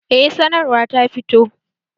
Eh sanarwa ta fito